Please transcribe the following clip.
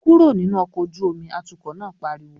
"Kúrò nínú ọkọ̀ ojú omi!", atukọ̀ náà pariwo